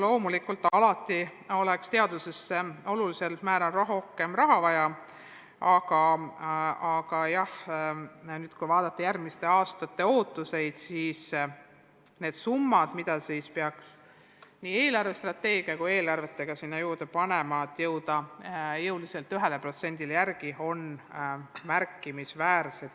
Loomulikult oleks teadusesse olulisel määral rohkem raha vaja, aga kui mõelda järgmiste aastate ootustele, siis summad, mis peaks nii riigi eelarvestrateegia kui ka eelarvete kohaselt juurde panema, et jõuda 1%-ni, on märkimisväärsed.